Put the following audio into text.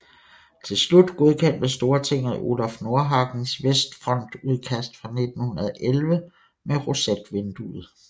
Til slut godkendte Stortinget Olaf Nordhagens vestfrontudkast fra 1911 med rosetvindue